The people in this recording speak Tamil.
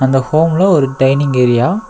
இந்த ஹோம்ல ஒரு டைன்னிங் ஏரியா .